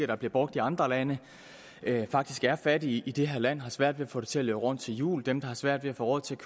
der bliver brugt i andre lande faktisk er fattige i det her land og har svært ved at få det til at løbe rundt til jul dem der har svært ved at få råd til at